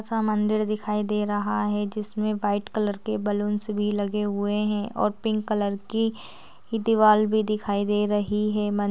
--सा मंदिर दिखाई दे रहा है जिसमें व्हाइट कलर के बलून्स भी लगे हुए हैं और पिंक कलर की दीवाल भी दिखाई दे रही है मं --